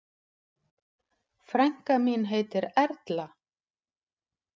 Frænka mín heitir Erla.